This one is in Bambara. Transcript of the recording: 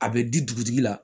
A bɛ di dugutigi la